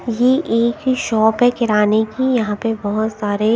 ये एक ही शॉप है किराने की यहां पे बहुत सारे--